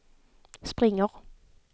springer